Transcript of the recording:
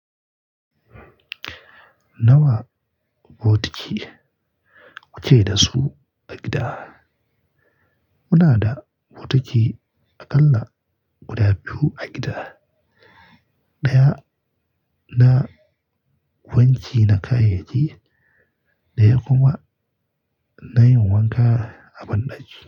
Nawa bokiti kuke da su a gida? Muna da bokiti aƙalla guda biyu a gida, ɗaya na wanki na kayayyaki, ɗaya kuma na yin wanka a banɗaki.